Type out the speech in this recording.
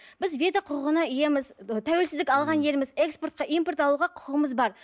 біз құқығына иеміз ы тәуелсіздік алған елміз экспортқа импорт алуға құқығымыз бар